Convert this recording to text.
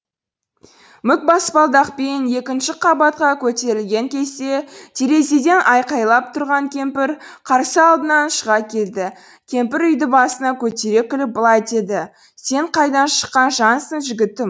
мук баспалдақпен екінші қабатқа көтерілген кезде терезеден айқайлап тұрған кемпір қарсы алдынан шыға келді кемпір үйді басына көтере күліп былай деді сен қайдан шыққан жансың жігітім